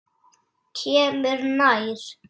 Kemur nær.